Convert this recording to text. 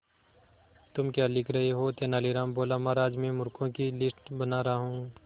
तुम क्या लिख रहे हो तेनालीराम बोला महाराज में मूर्खों की लिस्ट बना रहा हूं